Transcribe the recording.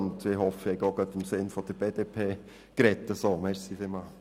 Und ich hoffe, ich habe auch gerade im Sinn der BDP gesprochen!